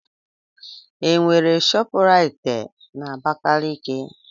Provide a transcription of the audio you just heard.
Enwere ShopRite na Abakaliki?